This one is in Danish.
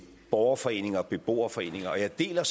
borgerforening og beboerforening og jeg deler